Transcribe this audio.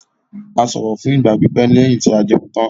A sọ̀rọ̀ fún ìgbà pípẹ́ lẹ́yìn tí a jẹun tán.